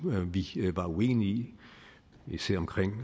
vi var uenige i især omkring